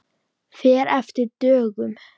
Fer eftir dögum.